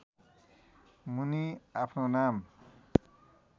मुनि आफ्नो नाम